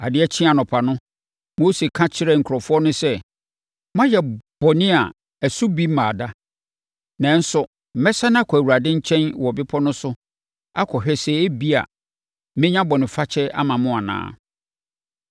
Adeɛ kyee anɔpa no, Mose ka kyerɛɛ nkurɔfoɔ no sɛ, “Moayɛ bɔne a ɛso bi mmaa da, nanso mɛsane akɔ Awurade nkyɛn wɔ bepɔ no so akɔhwɛ sɛ ebia, mɛnya bɔnefakyɛ ama mo anaa.”